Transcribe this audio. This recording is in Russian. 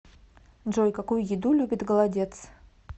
джой какую еду любит голодец